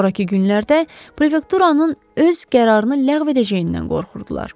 Sonrakı günlərdə prefekturanın öz qərarını ləğv edəcəyindən qorxurdular.